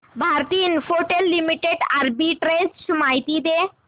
Bharti Infratel Limited arbitrage माहिती दे